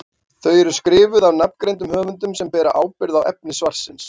Þau eru skrifuð af nafngreindum höfundum sem bera ábyrgð á efni svarsins.